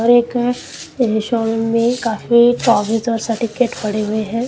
और एक रिसाॅल में काफी कागज और सर्टिफिकेट पड़े हुए हैं।